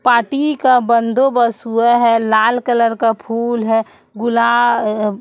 पाटी का बंदोबस हुआ है लाल कलर का फूल गुला अ--